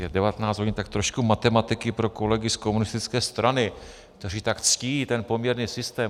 Je 19 hodin, tak trošku matematiky pro kolegy z komunistické strany, kteří tak ctí ten poměrný systém.